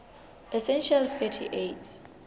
essential fatty acids